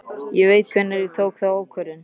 Ég veit hvenær ég tók þá ákvörðun.